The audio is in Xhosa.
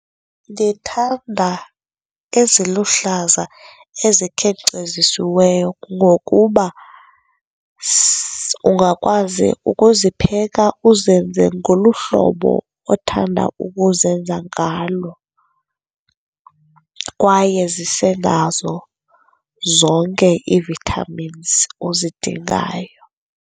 Ndithanda eziluhlaza ezikhenkcezisiweyo ngokuba ungakwazi ukuzipheka uzenze ngolu hlobo othanda ukuzenza ngalo kwaye zise nazo zonke ii-vitamins ozidingayo.